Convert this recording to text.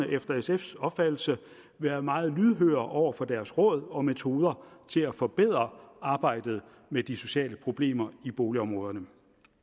efter sfs opfattelse være meget lydhøre over for deres råd og metoder til at forbedre arbejdet med de sociale problemer i boligområderne